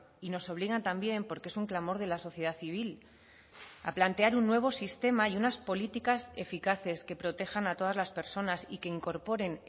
y nos obligan también porque es un clamor de la sociedad civil a plantear un nuevo sistema y unas políticas eficaces que protejan a todas las personas y que incorporen